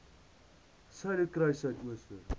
suiderkruissuidooster